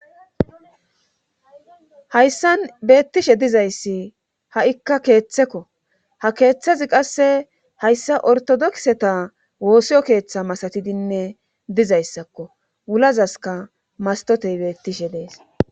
Hayssan beettishe dizayssi ha7ikka keeththekko ha keeththezi qasse hayssa ortodokseta woosiyo keeththa masatidinne dizayssakko wulazaska mastotey beettishe dees